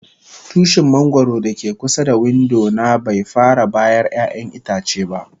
Tushin mangoro da ke kusa da window na bai fara bayar ƴayan itace ba.